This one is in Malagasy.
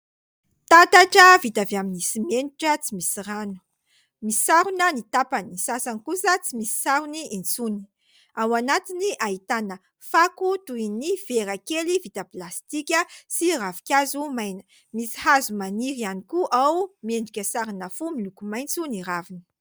Tatatra vita avy amin'ny simenitra tsy misy rano. Misarona ny tapany, ny sasany kosa tsy misy sarony intsony. Ao anatiny ahiana fako toy ny vera kely vita plastika sy ravinkazo maina. Misy hazo maniry ihany koa ao, miendrika sarina fo miloko maitso ny raviny.